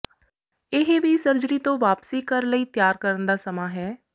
ਇਹ ਵੀ ਸਰਜਰੀ ਤੋਂ ਵਾਪਸੀ ਘਰ ਲਈ ਤਿਆਰ ਕਰਨ ਦਾ ਸਮਾਂ ਹੈ